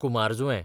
कुमारजुंवें